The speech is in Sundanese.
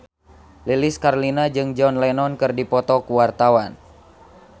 Lilis Karlina jeung John Lennon keur dipoto ku wartawan